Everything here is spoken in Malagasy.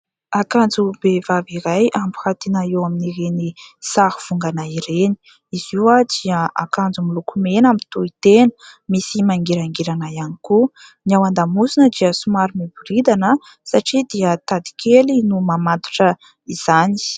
Akanjom-behivavy iray ampirantiana eo amin'ireny sarivongana ireny. Izy io dia akanjo miloko mena mitohy tena, misy mangirangirana ihany koa ny ao an-damosina dia somary miboridana satria dia tady kely no mamatotra izany.